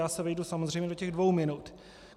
Já se vejdu samozřejmě do těch dvou minut.